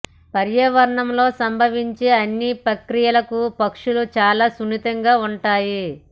పర్యావరణంలో సంభవించే అన్ని ప్రక్రియలకు పక్షులు చాలా సున్నితంగా ఉంటాయి